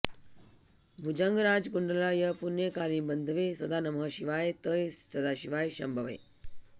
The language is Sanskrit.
भुजङ्गराजकुण्डलाय पुण्यकालिबन्धवे सदा नमः शिवाय ते सदाशिवाय शम्भवे